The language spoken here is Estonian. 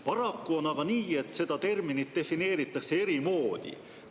Paraku on aga nii, et seda terminit defineeritakse eri moodi.